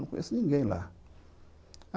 Não conheço ninguém lá.